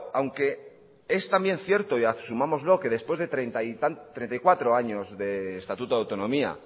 aunque es también cierto y asumámoslo que después de treinta y cuatro años de estatuto de autonomía